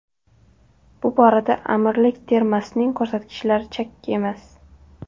Bu borada Amirlik termasining ko‘rsatkichlari chakki emas.